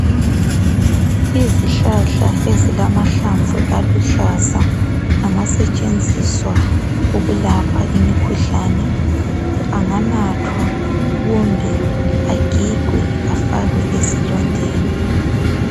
Izihlahla ezilama hlamvu aluhlaza, angasetshenziswa ukulapha imikhuhlane. Uyakwazi ukuwanatha kumbe agigwe afakwe ezilondeni.